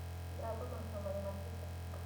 игра тоттенхэма и манчестер сити